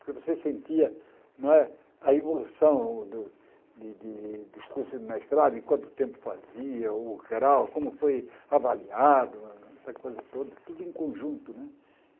Porque você sentia não é a evolução do de dos cursos de mestrado, em quanto tempo fazia, o grau, como foi avaliado, essa coisa toda, tudo em conjunto, né?